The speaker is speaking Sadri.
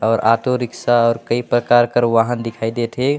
और ऑटोरिक्शा और कई प्रकार के वाहन दिखाई देत हे।